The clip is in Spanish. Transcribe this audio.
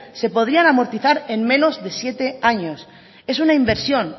se podrían amortizar en menos de siete años es una inversión